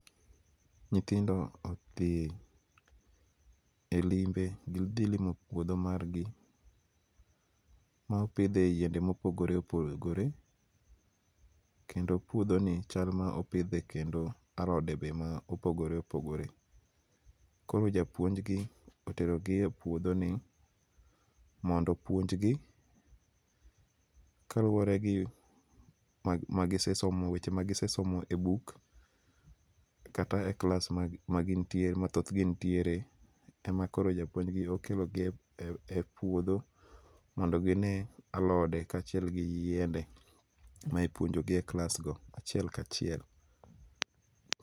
Nyithindo odhi e limbe gidhi limo pudho mar gi ma opidhe yiende ma opogore opogore kendo puodho ni chal ma opidhe kendo alode ma opogore opogore, koro japuonj gi otero gi e puodho ni mondo opunj gi kaluwore gi weche ma gisesomo magi sesomo e book kata e class ma thoth gi nitiere ,ema koro japuonj gi okelo gi epuodho mondo gine alode kachiel gi yiende ma ipuonjo gi e class go achiel ka chiel